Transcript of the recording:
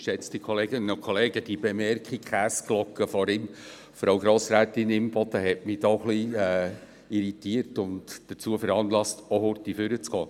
Die Bemerkungen zur Käseglocke von Grossrätin Imboden haben mich irritiert und bewogen, ans Rednerpult zu treten.